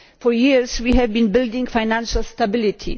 For years we have been building on financial stability